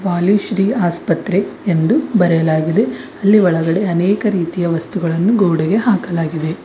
ವಾಲಿ ಶ್ರೀ ಆಸ್ಪತ್ರೆ ಎಂದು ಬರೆಯಲಾಗಿದೆ ಅಲ್ಲಿ ಒಳಗಡೆ ಅನೇಕ ರೀತಿಯ ವಸ್ತುಗಳನ್ನು ಗೋಡೆಗೆ ಹಾಕಲಾಗಿದೆ.